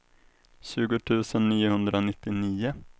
tjugo tusen niohundranittionio